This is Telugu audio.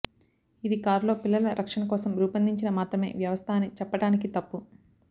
ఇది కారు లో పిల్లల రక్షణ కోసం రూపొందించిన మాత్రమే వ్యవస్థ అని చెప్పటానికి తప్పు